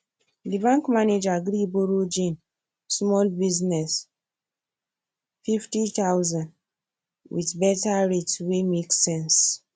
the bank manager gree borrow jane small business 50000 with better rate wey make sense